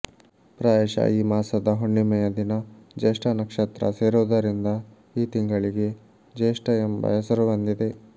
ಪ್ರಾಯಶಃ ಈ ಮಾಸದ ಹುಣ್ಣಿಮೆಯ ದಿನ ಜ್ಯೇಷ್ಠಾನಕ್ಷತ್ರ ಸೇರುವುದರಿಂದ ಈ ತಿಂಗಳಿಗೆ ಜ್ಯೇಷ್ಠ ಎಂಬ ಹೆಸರು ಬಂದಿದೆ